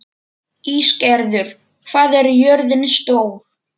Ísgerður, hvað er jörðin stór?